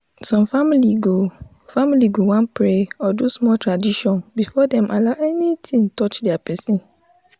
some family go family go wan pray or do small tradition before dem allow anything touch their person.